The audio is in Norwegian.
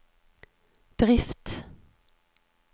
drift